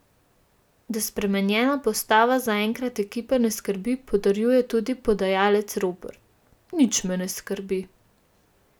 Da spremenjena postava zaenkrat ekipe ne skrbi, potrjuje tudi podajalec Ropret: 'Nič me ne skrbi.